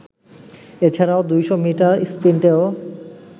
এছাড়াও ২০০ মিটার স্প্রিন্টেও